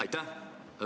Aitäh!